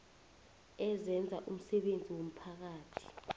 ezenza umsebenzi womphakathi